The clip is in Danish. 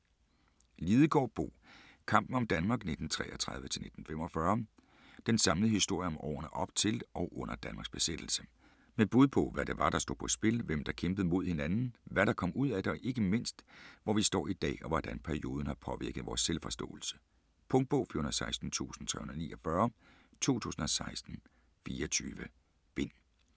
Lidegaard, Bo: Kampen om Danmark 1933-1945 Den samlede historie om årene op til og under Danmarks besættelse. Med bud på, hvad det var der stod på spil, hvem der kæmpede mod hinanden, hvad der kom ud af det, og ikke mindst, hvor vi står i dag og hvordan perioden har påvirket vores selvforståelse. Punktbog 416349 2016. 24 bind.